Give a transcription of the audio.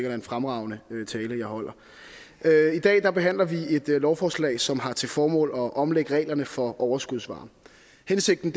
er en fremragende tale jeg holder i dag behandler vi et lovforslag som har til formål at omlægge reglerne for overskudsvarme hensigten